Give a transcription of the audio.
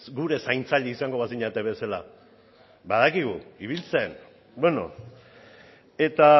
gure zaintzaile izango bazinate bezala badakigu ibiltzen eta